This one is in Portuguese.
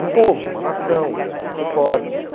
Um povo, uma nação, vamos ser fortes.